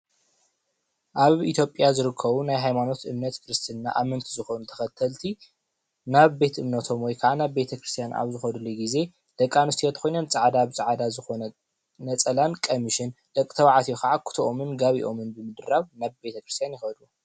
አብ ኢትዮጲያ ዝርከቡ ናይ ሃይማኖት እምነት ክርስትና እመንቲ ዝኮኑ ተኸተልቲ ናብ ቤት እምነቶም ወይ ከዓ ናብ ቤት ክርስትያና አብ ዝኸዱሉ ግዜ ደቂ አነስትዮ ተኮይነን ፃዕዳ ብፃዕዳ ዝኾነ ነፃላን ቀሚስን ደቂ ተባዕትዮ ኸዓ ኩቶኦም ጋቢኦምን ብምድራብ ናብ ቤት ክርስትያን ይኸዱ፡፡